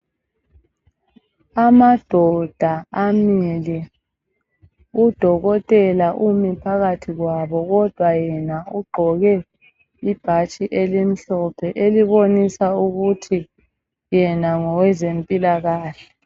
Amadoda amile, udokotela umi phakathi kwabo kodwa yena ugqoke ibhatshi elimhlophe elibomisa ukuthi yena ngoweze mpilakahle.